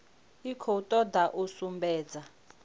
i khou toda u sumbedza